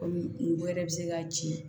Kɔmi ngo yɛrɛ be se ka ci